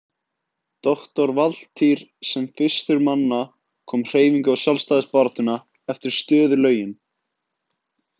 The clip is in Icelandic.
Doktor Valtýr sem fyrstur manna kom hreyfingu á sjálfstæðisbaráttuna eftir stöðulögin.